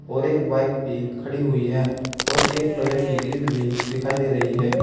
और एक बाइक भी खड़ी हुई है और एक लोहे की ग्रिल भी दिखाई दे रही है।